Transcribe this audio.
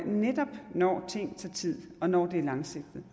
netop når ting tager tid og når det er langsigtet